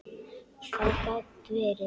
Það gat verið.